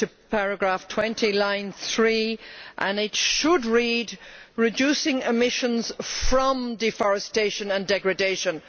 Paragraph 20, line 3 should read reducing emissions from deforestation and degradation'.